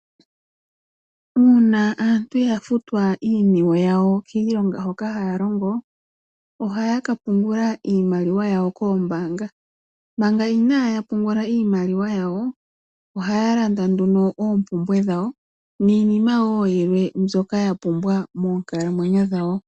Uuna aantu ya futwa iiniwe yawo kiilonga hoka haya longo ohaya ka pungula iimaliwa yawo koombaanga. Manga inaaya pungula iimaliwa yawo ohaa landa nduno oompumbwe dhawo niinima wo yilwe mbyoka ya pumbwa moonkalamwenyo dhawo.